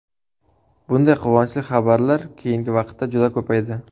Bunday quvonchli xabarlar keyingi vaqtda juda ko‘paydi.